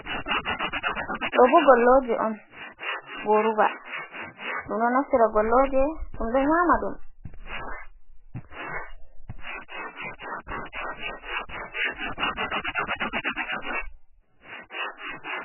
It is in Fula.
Ɗoo bo gollooje on, "gooruba" ɗum ɗo naftira gollooje, ɗum ɗo nyaama ɗum.